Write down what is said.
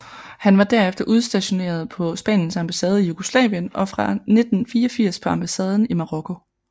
Han var derefter udstioneret på Spaniens ambassade i Jugoslavien og fra 1984 på ambassaden i Marokko